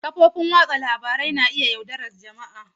Kafofin watsa labaru na iya yaudarar jama'a.